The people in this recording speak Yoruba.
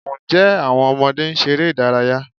Ǹjẹ́ àwọn ọmọdé ń ṣeré ìdárayá?